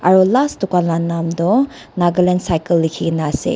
aro last dukan la nam toh nagaland cycle likhikaena ase.